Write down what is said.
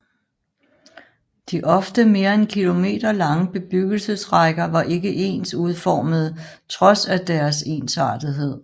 De ofte mere end kilometerlange bebyggelsesrækker var ikke ens udformede trods af deres ensartethed